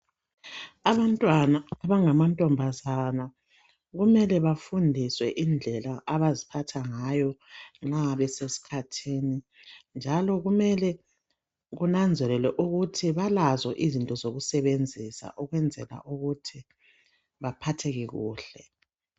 Abantwana abangama ntombazana kumele. bafundiswe indlela abaziphatha ngayo nxa beseskhathini .Njalo kumele kunanzelelwe ukuthi balazo izinto zokusebenzisa ukwenzela ukuthi baphatheke kuhle .